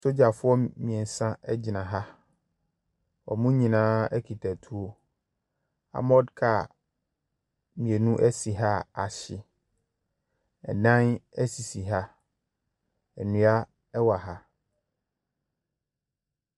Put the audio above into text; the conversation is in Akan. Sogyafoɔ mmiɛnsa egyina ha. Wɔn nyinaa kita tuo. Amɔd kaa mmienu si ha a ahyɛ. Ɛdan sisi ha. Nnua ɛwɔ ha.